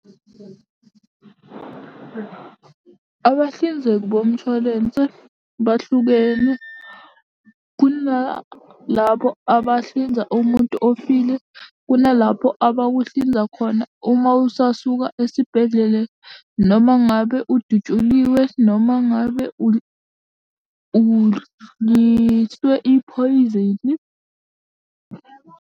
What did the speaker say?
Abahlinzeki bomshwalense bahlukene, kunalabo abahlinza umuntu ofile, kunalapho abakuhlinza khona uma usasuka esibhedlele noma ngabe udutshuliwe noma ngabe udliswe iphoyizeni.